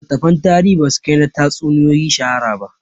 Littattafan tarihi ba su kai na tatsuniyoyi shahara ba